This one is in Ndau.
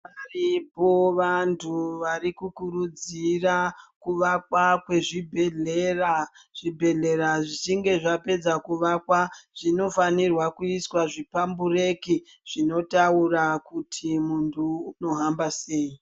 Varipo vantu varikukurudzira kuvakwa kwezvibhehlera, zvibhehlera zvichinge zvapedza kuvakwa zvinofanira kuiswa zviphambureki zvinotaura kuti muntu unohamba sei.